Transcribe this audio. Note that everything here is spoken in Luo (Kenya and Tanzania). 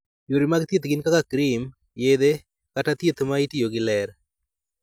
Yore mag thieth gin kaka krim, yethe, kod thieth ma itiyogo gi ler.